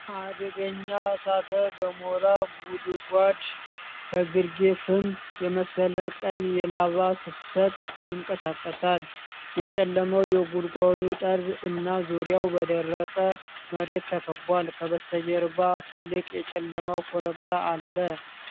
አደገኛ እሳተ ገሞራ ጉድጓድ፣ ከግርጌ ፍም የመሰለ ቀይ የላቫ ፍሰት ይንቀሳቀሳል። የጨለመው የጉድጓዱ ጠርዝ እና ዙሪያው በደረቅ መሬት ተከቧል። ከበስተጀርባ ትልቅ የጨለመ ኮረብታ አለ።